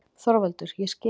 ÞORVALDUR: Ég skil.